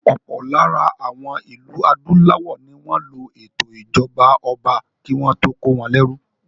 Ọ̀pọ̀ lára àwọn ìlú adúláwọ̀ ní wọ́n lo ètò ìṣèjọba ọba kí wọ́n tó kó wọn lérú.